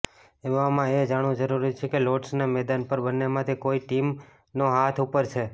એવામાં એ જાણવું જરૂરી છે કે લોર્ડ્સના મેદાન પર બંન્નેમાંથી કઇ ટીમનો હાથ ઉપર છે